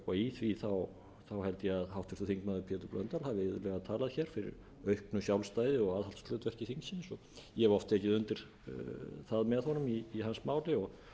og í því held ég að háttvirtur þingmaður pétur blöndal hafi iðulega talað hér fyrir auknu sjálfstæði og aðhaldshlutverki þingsins ég hef oft tekið undir það með honum í hans máli og